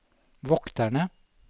vokterne